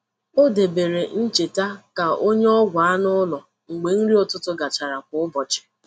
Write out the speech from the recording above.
O debeere ncheta ka o nye ọgwụ anụ ụlọ mgbe nri ụtụtụ gachara kwa ụbọchị.